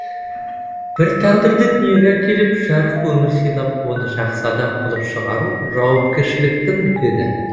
бір тағдырды дүниеге әкеліп жарық өмір сыйлап оны жақсы адам қылып шығару жауапкершіліктің үлкені